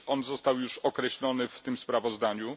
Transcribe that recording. Został on już określony w tym sprawozdaniu.